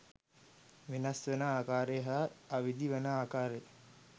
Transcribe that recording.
වෙනස්වන ආකාරය හා විවිධ වන ආකාරය